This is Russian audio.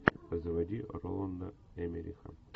заводи роланда эммериха